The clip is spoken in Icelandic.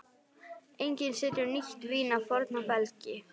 Enginn setur nýtt vín á forna belgi.